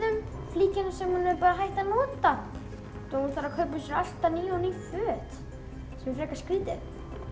flíkina sem hún var hætt að nota svo hún þarf að kaupa alltaf ný og ný föt sem er frekar skrítið